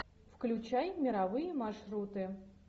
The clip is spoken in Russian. включай мировые маршруты